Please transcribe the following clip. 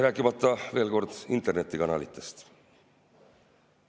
Rääkimata, veel kord, internetikanalitest.